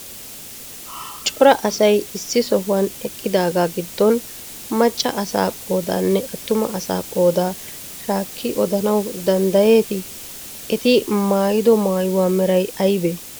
Cora asay issi sohuwan eqqidaagaa giddon macca asaa qoodaanne attuma asaa qoodaa shaakkidi odanawu danddayeetii? Eti maayido maayuwa meray aybee?